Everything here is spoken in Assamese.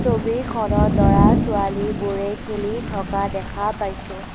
ছবিখনত ল'ৰা ছোৱালীবোৰে খেলি থকা দেখা পাইছোঁ।